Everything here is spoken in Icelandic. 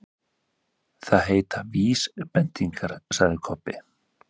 Það heita VÍSbendingar, sagði Kobbi.